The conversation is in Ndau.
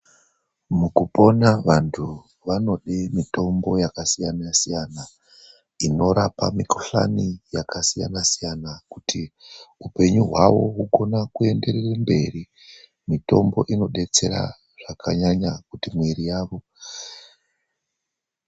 Mukupona vanthu vanode mitombo yakasiyana-siyana. Inorapa mikhuhlani yakasiyana-siyana, kuti upenyu hwavo hwuone kuenderere mberi. Mutombo inodetsera zvakanyanya kuti mwiri yavo igwinye.